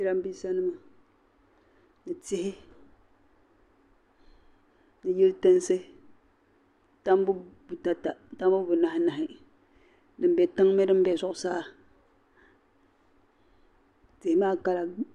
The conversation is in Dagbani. Jiran bisanima ni tihi ni yili tinsi. tambu butata tambu bu nani mahi din be tiŋa ni di be zuɣu saa tihi maa kala nyɛla vakahili.